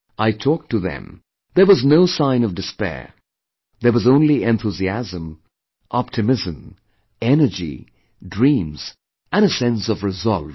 I talked to them, there was no sign of despair; there was only enthusiasm, optimism, energy, dreams and a sense of resolve